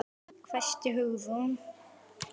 hvæsti Hugrún.